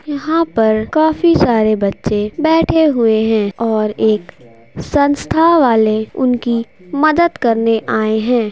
यहाँ पर काफी सारे बच्चे बैठे हुए हैं और एक संस्था वाले उनकी मदद करने आये है।